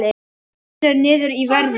Hrynur niður í verði